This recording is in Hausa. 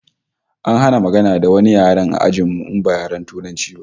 An hana magana da wani yare a ajin mu in ba Turanci ba